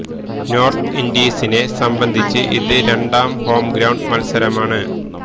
north ഈസ്റ്റിനെ സംബന്ധിച്ച് ഇത് രണ്ടാം ഹോം ഗ്രൌണ്ട് മത്സരമാണ്